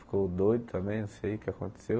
Ficou doido também, não sei o que aconteceu.